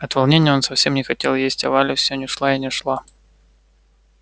от волнения он совсем не хотел есть а валя всё не шла и не шла